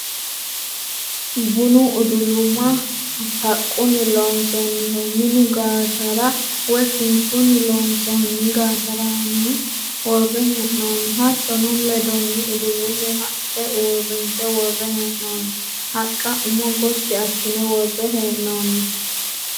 Bunu uduluma haqqunni loonsoonniho minu gaatara woyi kinchunni loonsoonni gaataraaanaho worre hee'noonni. Hattono ledonni udulumu haqqa uurrinse worre hee'noonni. Haqqa umo Gotti assine worre hee'noonni.